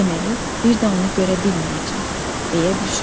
Deməli, bir də onu görə bilməyəcəm, deyə düşündüm.